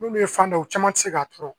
N'olu ye fan dɔ ye u caman tɛ se k'a tɔɔrɔ